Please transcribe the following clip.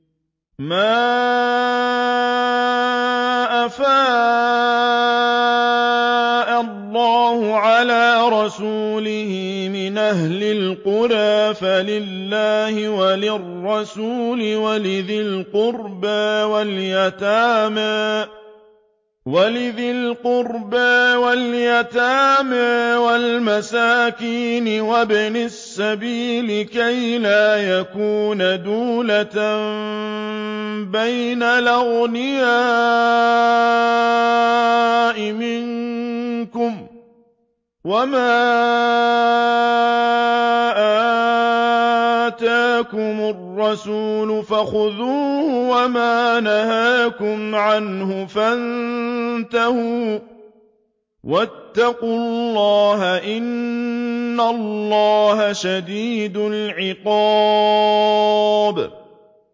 مَّا أَفَاءَ اللَّهُ عَلَىٰ رَسُولِهِ مِنْ أَهْلِ الْقُرَىٰ فَلِلَّهِ وَلِلرَّسُولِ وَلِذِي الْقُرْبَىٰ وَالْيَتَامَىٰ وَالْمَسَاكِينِ وَابْنِ السَّبِيلِ كَيْ لَا يَكُونَ دُولَةً بَيْنَ الْأَغْنِيَاءِ مِنكُمْ ۚ وَمَا آتَاكُمُ الرَّسُولُ فَخُذُوهُ وَمَا نَهَاكُمْ عَنْهُ فَانتَهُوا ۚ وَاتَّقُوا اللَّهَ ۖ إِنَّ اللَّهَ شَدِيدُ الْعِقَابِ